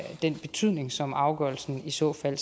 den betydning som afgørelsen i så fald